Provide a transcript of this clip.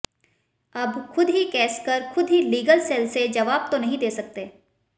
अब खुद ही केस कर खुद ही लीगल सेल से जवाब तो नहीं दे सकते